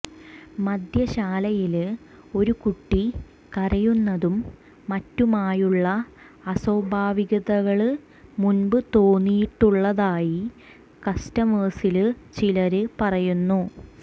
മദ്യശാലയില് ഒരു കുട്ടി കരയുന്നതും മറ്റുമായുളള അസ്വാഭാവികതകള് മുന്പ് തോന്നിയിട്ടുളളതായി കസ്റ്റമേഴ്സില് ചിലര് പറയുന്നു